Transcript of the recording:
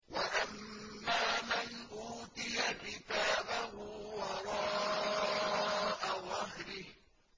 وَأَمَّا مَنْ أُوتِيَ كِتَابَهُ وَرَاءَ ظَهْرِهِ